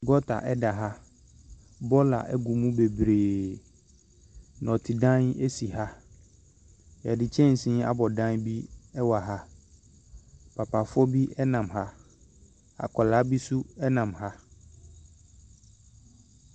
Gota ɛda ha. bɔɔla ɛgu mu bebree. Nnɔte dan ɛsi ha. Yɛde kyɛnsee abɔ dan bi ɛwɔ ha. Papafoɔ bi ɛnam ha. Akwadaa bi nso ɛnam ha.